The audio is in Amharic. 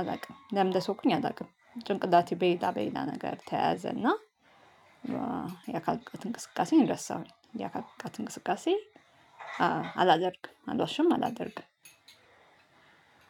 አላውቅም ለምን እንደተውኩኝ አላውቅም። ጭንቅላቴ በሌላ በሌላ ነገር ተያዘና። የአካል ብቃት እንቅስቃሴ እረሳሁኝ። የአካል ብቃት እንቅስቃሴ አላደርግም አልዋሽም አላደርግ።